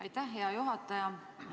Aitäh, hea juhataja!